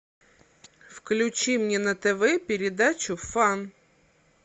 включи мне на тв передачу фан